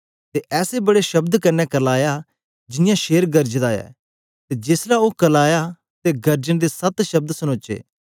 ते ऐसे बड्डे शब्द कन्ने करलाया जियां शेर गरजदा ऐ ते जेस ले ओ करलाया ते गरजन दे सत्त शब्द सनोचे